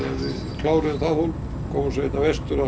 kláruðum það hólf komum svo hingað vestur og